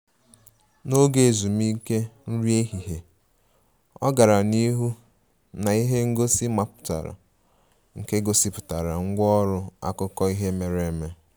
N'oge ezumike nri ehihie, ọ gara n'ihu na ihe ngosi mmapụta nke gosipụtara ngwá ọrụ akụkọ ihe mere eme